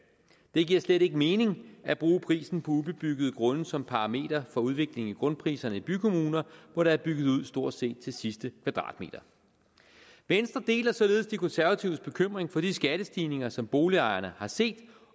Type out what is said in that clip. det giver slet ikke mening at bruge prisen på ubebyggede grunde som parameter for udviklingen i grundpriserne i bykommuner hvor der er bygget ud stort set til sidste kvadratmeter venstre deler således de konservatives bekymring for de skattestigninger som boligejerne har set